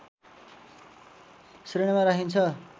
श्रेणीमा राखिन्छ